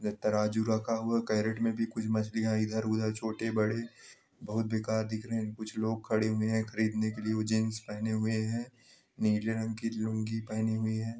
तराजू रखा हुआ है केरेट में भी कुछ मछलियां इधर उधर छोटी बड़ी बहोत बेकार दिख रही है कुछ लोग खड़े हुए है खरीदने के लिए जीन्स पहने हुए हैं नीले रंग की लुंगी पहनी हुई है।